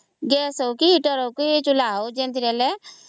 Gas ହଉ କି Heater ହଉ କି ଚୁଲା